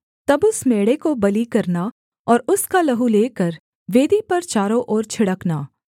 तब उस मेढ़े को बलि करना और उसका लहू लेकर वेदी पर चारों ओर छिड़कना